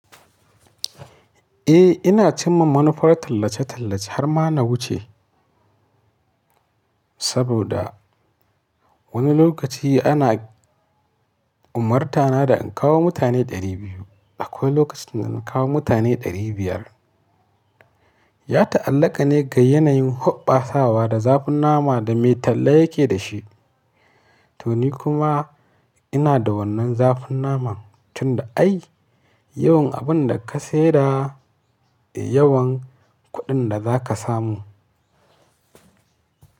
Eh ina cinma manufar tallace-tallace har ma na wuce saboda wani lokaci ana umartana na da in kawo mutane ɗari biyu, akwai lokacin da na kawo mutane ɗari biyar. Ya ta'allaƙa ne ga yanayin huɓɓasawa da zafin nama da mai talla yake da shi. To ni kuma ina da wannan zafin naman tun da ai yawan abun da ka sayar, yawan kuɗin da za ka samu.